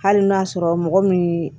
Hali n'a sɔrɔ mɔgɔ min